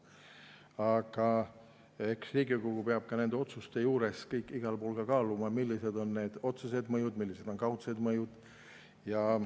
Aga eks Riigikogu peab nende otsuste juures ka kaaluma, millised on otsesed mõjud ja millised on kaudsed mõjud.